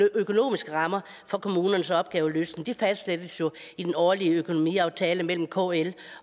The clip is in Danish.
økonomiske rammer for kommunernes opgaveløsning fastsættes jo i den årlige økonomiaftale mellem kl